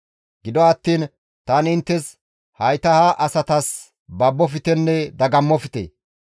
«Gido attiin tani inttes, ‹Hayta ha asatas baboftenne dagammofte.